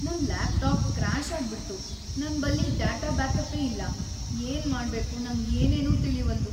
ನನ್ laptop crash ಆಗ್ಬಿಡ್ತು ನನ್‌ ಬಲ್ಲಿ ಡಾಟಾ ಬ್ಯಾಕಪ್ಪೇ ಇಲ್ಲಾ‌, ಏನ್‌ ಮಾಡ್ಬೇಕು ನಂಗ್‌ ಏನೇನೂ ತಿಳೀವಲ್ದು.